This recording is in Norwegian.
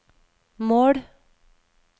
mål